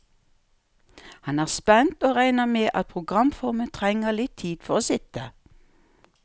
Han er spent, og regner med at programformen trenger litt tid for å sitte.